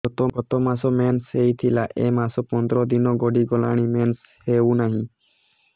ଗତ ମାସ ମେନ୍ସ ହେଇଥିଲା ଏ ମାସ ପନ୍ଦର ଦିନ ଗଡିଗଲାଣି ମେନ୍ସ ହେଉନାହିଁ